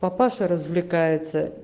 папаша развлекается